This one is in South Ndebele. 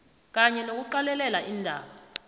kanye nokuqalelela iindaba